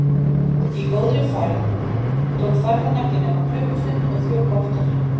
Í góðri færð tók ferðin ekki nema klukkustund og þrjú korter.